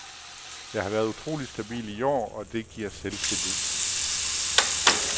Jeg har været utrolig stabil i år, og det giver selvtillid.